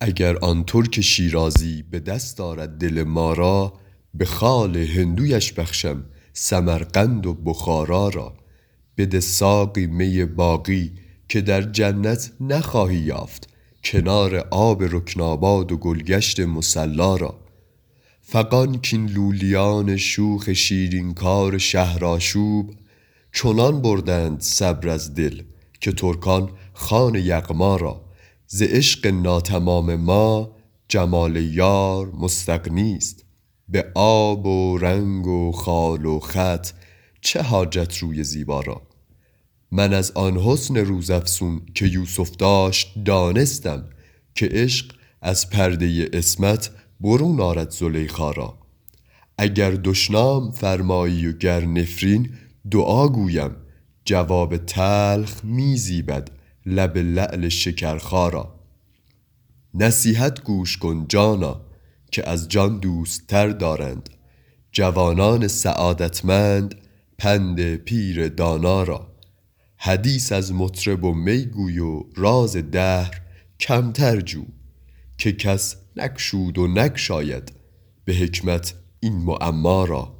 اگر آن ترک شیرازی به دست آرد دل ما را به خال هندویش بخشم سمرقند و بخارا را بده ساقی می باقی که در جنت نخواهی یافت کنار آب رکناباد و گل گشت مصلا را فغان کاین لولیان شوخ شیرین کار شهرآشوب چنان بردند صبر از دل که ترکان خوان یغما را ز عشق ناتمام ما جمال یار مستغنی است به آب و رنگ و خال و خط چه حاجت روی زیبا را من از آن حسن روزافزون که یوسف داشت دانستم که عشق از پرده عصمت برون آرد زلیخا را اگر دشنام فرمایی و گر نفرین دعا گویم جواب تلخ می زیبد لب لعل شکرخا را نصیحت گوش کن جانا که از جان دوست تر دارند جوانان سعادتمند پند پیر دانا را حدیث از مطرب و می گو و راز دهر کمتر جو که کس نگشود و نگشاید به حکمت این معما را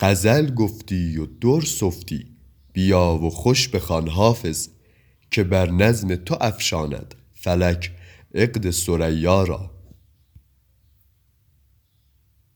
غزل گفتی و در سفتی بیا و خوش بخوان حافظ که بر نظم تو افشاند فلک عقد ثریا را